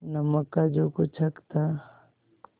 नमक का जो कुछ हक था